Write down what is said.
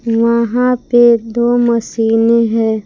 वहां पे दो मशीने है।